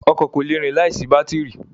Ọkọ̀ kò le rìn láìsí bátìrì.